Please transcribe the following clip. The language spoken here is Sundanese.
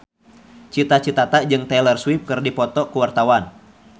Cita Citata jeung Taylor Swift keur dipoto ku wartawan